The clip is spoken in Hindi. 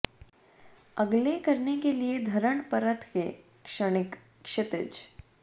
अगले करने के लिए धरण परत के क्षणिक क्षितिज